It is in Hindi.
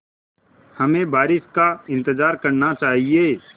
हमें बारिश का इंतज़ार करना चाहिए